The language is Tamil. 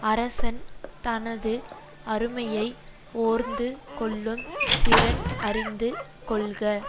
அரசன் தனது அருமையை ஓர்ந்து கொள்ளும் திறன் அறிந்து கொள்க